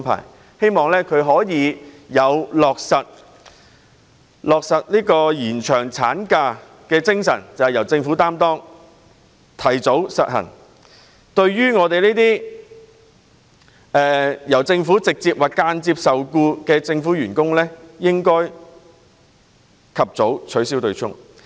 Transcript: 我們希望政府可以秉持落實延長產假時的精神，提早實行取消對沖機制，讓直接或間接受僱於政府的員工及早受惠。